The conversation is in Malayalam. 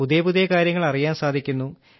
പുതിയ പുതിയ കാര്യങ്ങൾ അറിയാൻ സാധിക്കുന്നു